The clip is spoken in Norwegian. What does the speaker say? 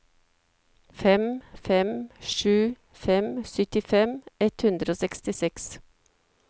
fem fem sju fem syttifem ett hundre og sekstiseks